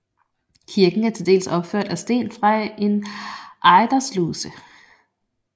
Kirken er til dels opført af sten fra en ejdersluse